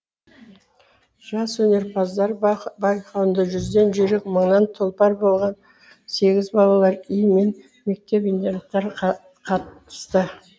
жас өнерпаздар байқауында жүзден жүйрік мыңнан тұлпар болған сегіз балалар үйі мен мектеп интернаттар қатысты